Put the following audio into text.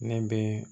Ne bɛ